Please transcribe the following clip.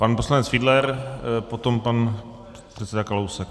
Pan poslanec Fiedler, potom pan předseda Kalousek.